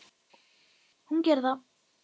Hún gerir það.